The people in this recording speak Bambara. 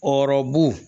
O ɔrɔbu